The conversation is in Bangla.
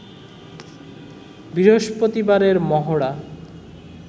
বৃহস্পতিবারের মহড়া